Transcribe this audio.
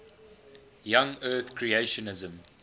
young earth creationism